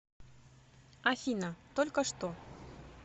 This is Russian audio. афина только что